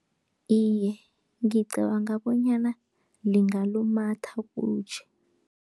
Iye, ngicabanga bonyana lingalumatha kutjhe.